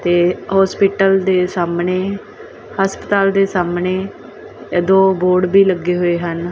ਤੇ ਹੋਸਪੀਟਲ ਦੇ ਸਾਹਮਣੇ ਹਸਪਤਾਲ ਦੇ ਸਾਹਮਣੇ ਇਹ ਦੋ ਬੋਰਡ ਵੀ ਲੱਗੇ ਹੋਏ ਹਨ।